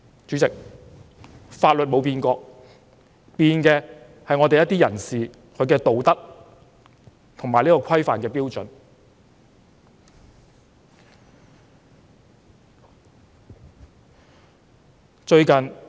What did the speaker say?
主席，法律從來沒變，改變的是一些人士的道德和行為規範的標準。